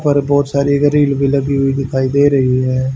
पर बहोत सारी गरील भी लगी हुई दिखाई दे रही है।